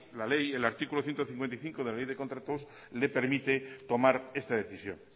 la ley el artículo ciento cincuenta y cinco del la ley de contratos le permite tomar esta decisión